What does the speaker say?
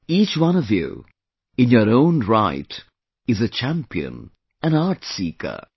Each one of you, in your own right is a champion, an art seeker